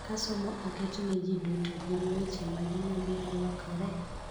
Ka somo oket ne ji duto, gin weche mage ma biro lokore?